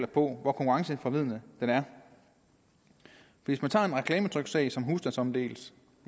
på hvor konkurrenceforvridende den er hvis man tager en reklametryksag som husstandsomdeles